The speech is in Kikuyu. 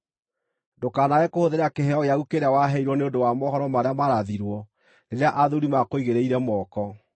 Ndũkanaage kũhũthĩra kĩheo gĩaku kĩrĩa waheirwo na ũndũ wa mohoro marĩa maarathirwo, rĩrĩa athuuri maakũigĩrĩire moko.